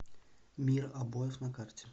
мир обоев на карте